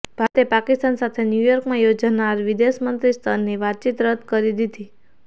ભારતે પાકિસ્તાન સાથે ન્યૂયોર્કમાં યોજાનાર વિદેશ મંત્રી સ્તરની વાતચીત રદ કરી દીધી